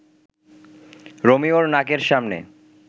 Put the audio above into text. রোমিওর নাকের সামনে